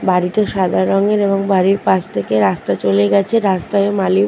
বাড়িটা সাদা রঙের এবং বাড়ির পাশ থেকে রাস্তা চলে গেছে রাস্তায় মালি--